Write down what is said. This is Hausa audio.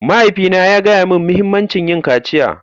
Mahaifina ya gaya mani muhimmancin yin kaciya.